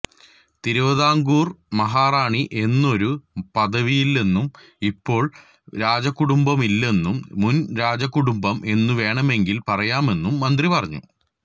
തിരുവിതാംകൂര് മഹാറാണി എന്നൊരു പദവിയില്ലെന്നും ഇപ്പോള് രാജകുടുംബവുമില്ലെന്നും മുന് രാജകുടുംബം എന്നു വേണമെങ്കില് പറയാമെന്നും മന്ത്രി പറഞ്ഞു